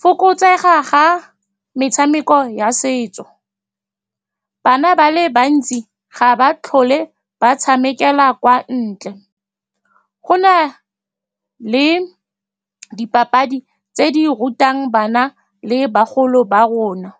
fokotsega ga metshameko ya setso, bana ba le bantsi ga ba tlhole ba tshamekela kwa ntle. Go na le dipapadi tse di rutang bana le bagolo ba rona.